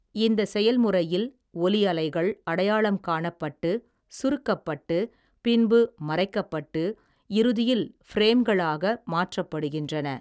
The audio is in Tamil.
இந்த செயல்முறையில், ஒலி அலைகள், அடையாளம் காணப்பட்டு, சுருக்கப்பட்டு, பின்பு மறைக்கப்பட்டு, இறுதியில், ஃபிரேம்களாக மாற்றப்படுகின்றன.